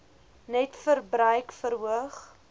net verbruik verhoog